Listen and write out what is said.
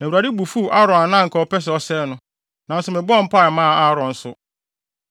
Na Awurade bo fuw Aaron a na anka ɔpɛ sɛ ɔsɛe no. Nanso mebɔɔ mpae maa Aaron nso.